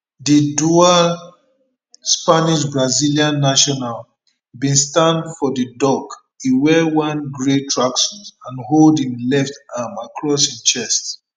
di dual spanish brazilian national bin stand for di dock e wear one grey tracksuit and hold im left arm across im chest